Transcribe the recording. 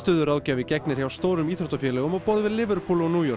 frammistöðuráðgjafi gegnir hjá stórum íþróttafélögum á borð við Liverpool og New York